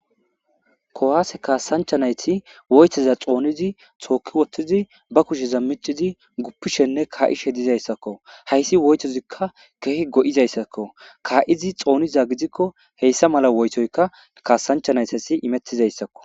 Kuwase kasancha nayt woytoza xoonid took utidi ba kusheza micid gufishenne ka'ishe dezaysako. Haysi woytozika Keehi go'izaysako , ka'id xoniza gidko heysa mala woytoyka kasancha naytas imetizaysako .